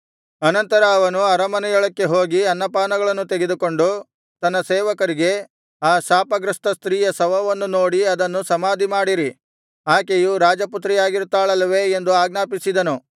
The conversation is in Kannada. ಅನಂತರ ಅವನು ಅರಮನೆಯೊಳಕ್ಕೆ ಹೋಗಿ ಅನ್ನಪಾನಗಳನ್ನು ತೆಗೆದುಕೊಂಡು ತನ್ನ ಸೇವಕರಿಗೆ ಆ ಶಾಪಗ್ರಸ್ತ ಸ್ತ್ರೀಯ ಶವವನ್ನು ನೋಡಿ ಅದನ್ನು ಸಮಾಧಿಮಾಡಿರಿ ಆಕೆಯು ರಾಜಪುತ್ರಿಯಾಗಿರುತ್ತಾಳಲ್ಲವೇ ಎಂದು ಆಜ್ಞಾಪಿಸಿದನು